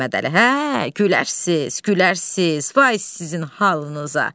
Hə, gülərsiz, gülərsiz, vay sizin halınıza.